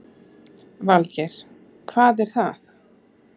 Valgeir: Hvað er það?